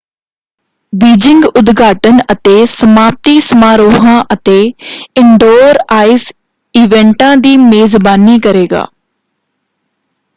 Beijing ਉਦਘਾਟਨ ਅਤੇ ਸਮਾਪਤੀ ਸਮਾਰੋਹਾਂ ਅਤੇ ਇਨਡੋਰ ਆਈਸ ਈਵੈਂਟਾਂ ਦੀ ਮੇਜ਼ਬਾਨੀ ਕਰੇਗਾ।